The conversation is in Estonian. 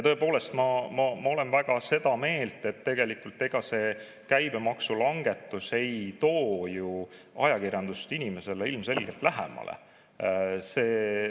Tõepoolest, ma olen väga seda meelt, et ega see käibemaksulangetus ei too ju ajakirjandust inimesele lähemale.